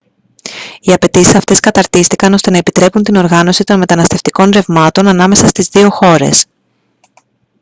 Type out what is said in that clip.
οι απαιτήσεις αυτές καταρτίστηκαν ώστε να επιτρέπουν την οργάνωση των μεταναστευτικών ρευμάτων ανάμεσα στις δύο χώρες